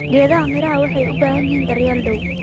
Geedaha miraha waxay u baahan yihiin daryeel dhow